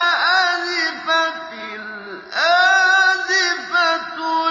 أَزِفَتِ الْآزِفَةُ